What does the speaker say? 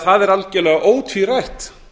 það er algjörlega ótvírætt